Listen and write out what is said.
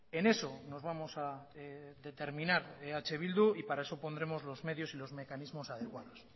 en eso nos vamos a determinar eh bildu y para eso pondremos los medios y los mecanismos adecuados